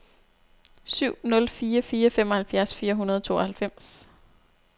syv nul fire fire femoghalvfjerds fire hundrede og tooghalvfems